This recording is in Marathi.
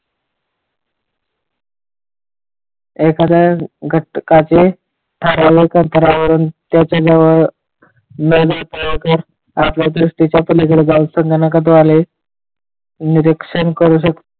एकाद्या घटकाचे सार्वजानिक अंतरावरून करू सकते ,